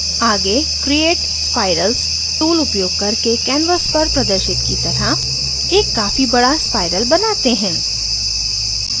आगे create spirals tool उपयोग करके canvas पर प्रदर्शित की तरह एक काफी बड़ा spirals बनाते हैं